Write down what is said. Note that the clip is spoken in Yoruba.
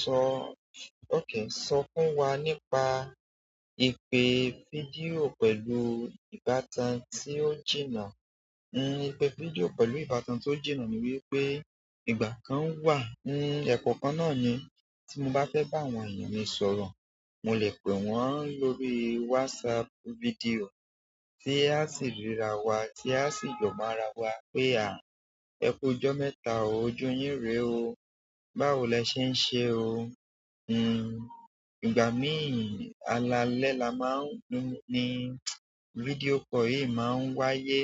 Sọ-- okay, sọ fún wa nípa ìpè fídíò pẹ̀lú ìbátan tí ó jìnnà. Hmm, ìpè fídíò pẹ̀lú ìbátan tí ó jìnnà ni wípé ìgbà kan wà, hmm, ẹ̀kọ́ kan náà ni tí mo bá fẹ́ bá àwọn èèyàn mi sọ̀rọ̀, mo lè pè wọ́n lórí WhatsApp fídíò tí a sì ríra wa, tí a sì jọ máa ra wa pé à, ẹku ijọ́ mẹ́ta òò, ojú yín rè o, báwo lẹ ṣe ń ṣe o? Hmm, ìgbà míì, alaalẹ́ la máa ń ní, video call yìí máa ń wáyé,